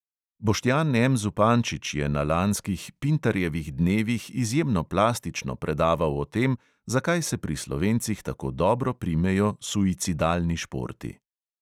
Boštjan M zupančič je na lanskih pintarjevih dnevih izjemno plastično predaval o tem, zakaj se pri slovencih tako dobro primejo suicidalni športi.